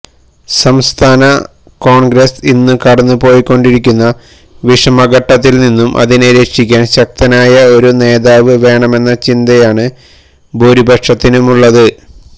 സംസ്ഥാന കോണ്ഗ്രസ് ഇന്ന് കടന്നുപോയിക്കൊണ്ടിരിക്കുന്ന വിഷമഘട്ടത്തില്നിന്നും അതിനെ രക്ഷിക്കാന് ശക്തനായ ഒരുനേതാവ് വേണമെന്ന ചിന്തയാണ് ഭൂരിപക്ഷത്തിനുമുള്ളത്